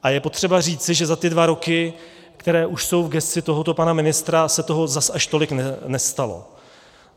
A je potřeba říci, že za ty dva roky, které už jsou v gesci tohoto pana ministra, se toho zas až tolik nestalo.